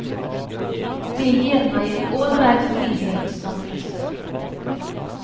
Det gir meg en ålreit frihet som frisør.